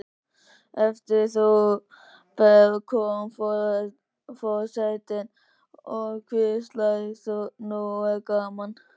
Eftir þá ferð kom forsetinn og hvíslaði: Nú er gaman